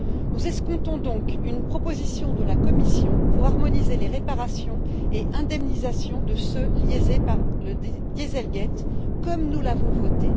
Nous escomptons donc une proposition de la Commission pour harmoniser les réparations et indemnisations de ceux qui ont été lésés par le dieselgate, comme nous l'avons voté.